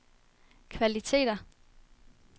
kvaliteter